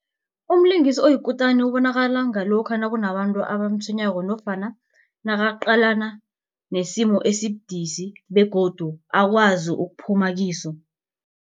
Umlingisi oyikutani ubonakala ngalokha nakunabantu abamtshwenyako nofana nakaqalana nesimo esibudisi begodu akwazi ukuphuma kibo.